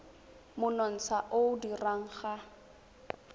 monontsha o o dirwang ga